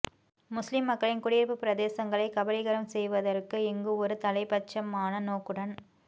முஸ்லிம் மக்களின் குடியிருப்பு பிரதேசங்களைக் கபளீகரம் செய்வதற்கு இங்கு ஒரு தலைப்பட்சமான நோக்குடன்